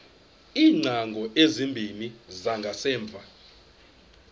iingcango ezimbini zangasemva